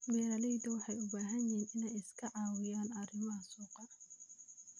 Beeraleydu waxay u baahan yihiin inay iska caawiyaan arrimaha suuqa.